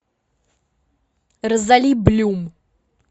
розали блюм